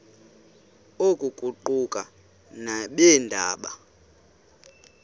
oku kuquka nabeendaba